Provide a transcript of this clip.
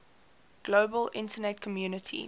global internet community